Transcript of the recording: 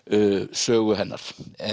sögu hennar